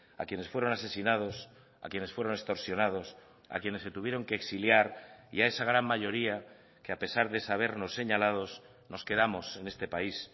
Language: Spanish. a quienes fueron asesinados a quienes fueron extorsionados a quienes se tuvieron que exiliar y a esa gran mayoría que a pesar de sabernos señalados nos quedamos en este país